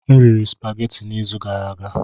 M riri supageti n'izu gara aga.